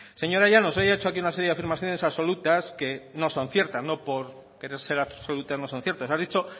señora llanos hoy ha hecho aquí una serie de afirmaciones absolutas que no son ciertas no por ser absolutas no son ciertas